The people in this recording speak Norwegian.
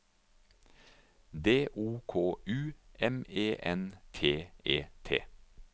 D O K U M E N T E T